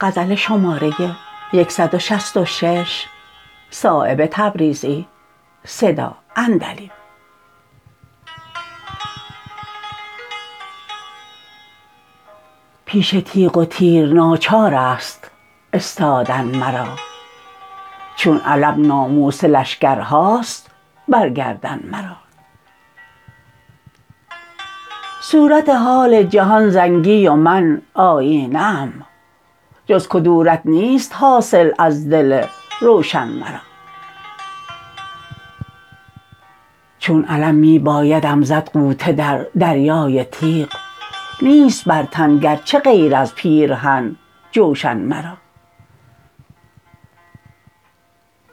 پیش تیغ و تیر ناچارست استادن مرا چون علم ناموس لشکرهاست بر گردن مرا صورت حال جهان زنگی و من آیینه ام جز کدورت نیست حاصل از دل روشن مرا چون علم می بایدم زد غوطه در دریای تیغ نیست بر تن گرچه غیر از پیرهن جوشن مرا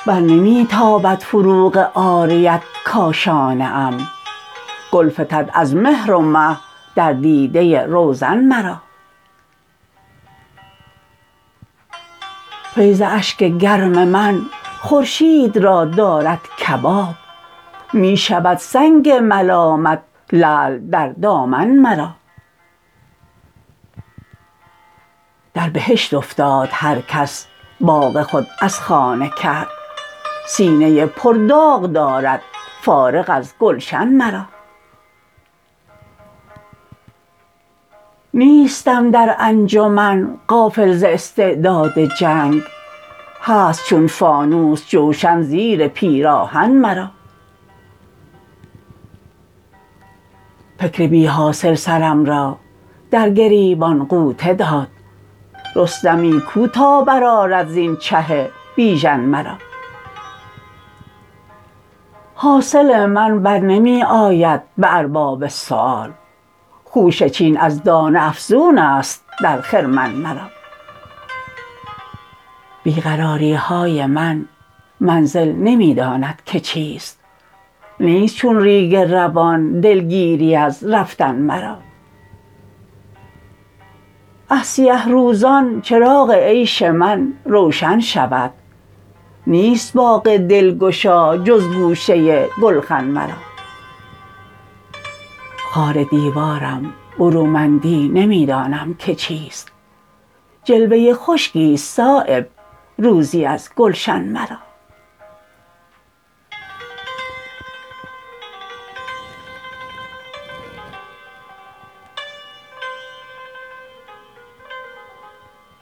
برنمی تابد فروغ عاریت کاشانه ام گل فتد از مهر و مه در دیده روزن مرا فیض اشک گرم من خورشید را دارد کباب می شود سنگ ملامت لعل در دامن مرا در بهشت افتاد هر کس باغ خود از خانه کرد سینه پر داغ دارد فارغ از گلشن مرا نیستم در انجمن غافل ز استعداد جنگ هست چون فانوس جوشن زیر پیراهن مرا فکر بی حاصل سرم را در گریبان غوطه داد رستمی کو تا برآرد زین چه بیژن مرا حاصل من برنمی آید به ارباب سؤال خوشه چین از دانه افزون است در خرمن مرا بی قراری های من منزل نمی داند که چیست نیست چون ریگ روان دلگیری از رفتن مرا از سیه روزان چراغ عیش من روشن شود نیست باغ دلگشا جز گوشه گلخن مرا خار دیوارم برومندی نمی دانم که چیست جلوه خشکی است صایب روزی از گلشن مرا